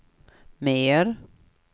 mer